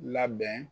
Labɛn